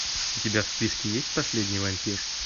у тебя в списке есть последний вампир